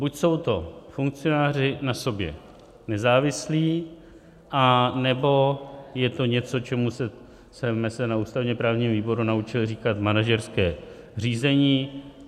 Buď jsou to funkcionáři na sobě nezávislí, anebo je to něco, čemu jsme se na ústavně-právním výboru naučili říkat manažerské řízení.